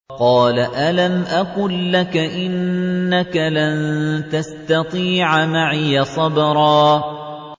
۞ قَالَ أَلَمْ أَقُل لَّكَ إِنَّكَ لَن تَسْتَطِيعَ مَعِيَ صَبْرًا